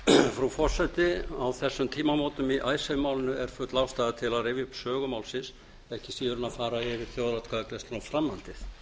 frú forseti á þessum tímamótum í icesave málinu er full ástæða til að rifja upp sögu málsins ekki síður en að fara yfir þjóðaratkvæðagreiðsluna og framhaldið